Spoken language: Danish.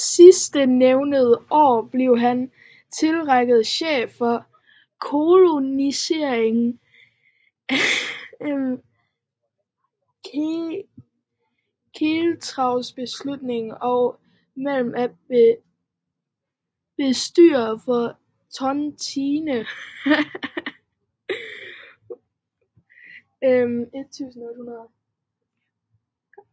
Sidstnævnte år blev han tillige chef for Koloniernes Centralbestyrelse og medlem af bestyrelsen for Tontinen af 1800